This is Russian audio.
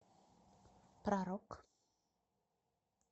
про рок